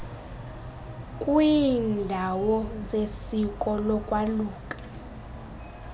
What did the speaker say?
kwiiindawo zesiko lokwaluka